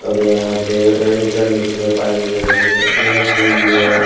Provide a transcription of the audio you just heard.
और यहाँ पे लगी हुई हैं और।